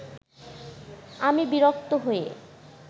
আমি বিরক্ত হয়ে